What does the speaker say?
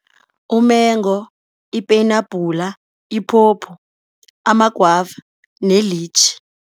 Umengo, ipeyinabhula, iphopho, ama-guava ne-litchi.